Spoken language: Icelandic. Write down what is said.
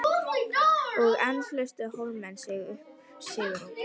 Og enn lustu Hólamenn upp sigurópi.